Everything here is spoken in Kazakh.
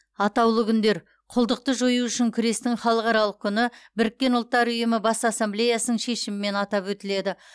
атаулы күндер құлдықты жою үшін күрестің халықаралық күні біріккен ұлттар ұйымы бас ассамблеясының шешімімен атап өтіледі